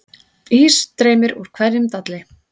Ís streymir úr hverjum dalli